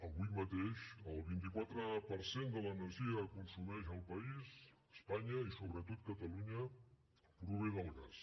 avui mateix el vint quatre per cent de l’energia que consumeix el país espanya i sobretot catalunya prové del gas